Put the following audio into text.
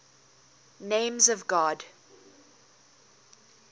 names of god